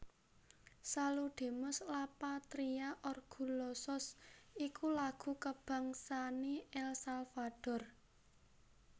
Saludemos la Patria orgullosos iku lagu kabangsané El Salvador